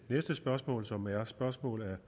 og usunde